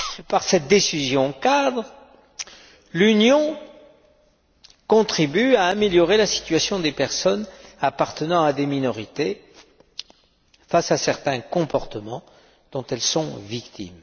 Par cette décision cadre, l'Union contribue à améliorer la situation des personnes appartenant à des minorités face à certains comportements dont elles sont victimes.